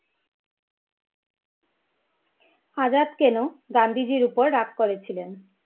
আজাদ কেনো গান্ধীজির উপর রাগ করে ছিলেন?